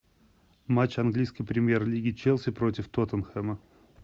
матч английской премьер лиги челси против тоттенхэма